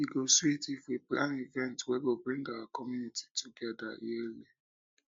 e go sweet um if we plan events wey go bring our community together yearly um